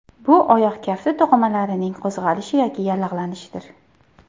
Bu oyoq kafti to‘qimalarining qo‘zg‘alishi yoki yallig‘lanishidir.